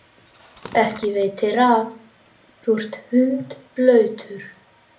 Ekki veitir af, þú ert hundblautur.